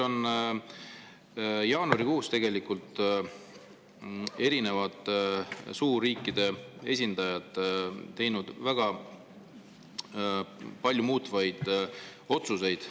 Jaanuarikuus on erinevad suurriikide esindajad teinud väga palju muutvaid otsuseid.